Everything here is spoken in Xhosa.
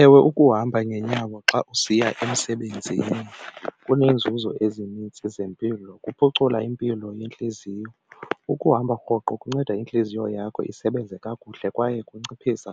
Ewe ukuhamba ngenyawo xa usiya emsebenzini kuneenzuzo ezininzi zempilo, kuphucula impilo yentliziyo. Ukuhamba rhoqo kunceda intliziyo yakho isebenze kakuhle kwaye kunciphisa